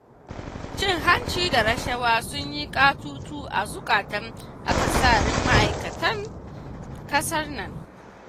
Cin hanci da rashawa sun yi katutu a zukatan akasarin ma'aikatan ƙasar nan.